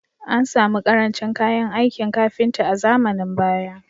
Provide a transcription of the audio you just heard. An samu ƙarancin kayan aikin kafinta a zamanin baya